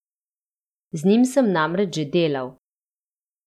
Z njim sem namreč že delal.